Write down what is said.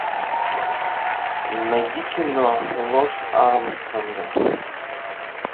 найди кино ложь армстронга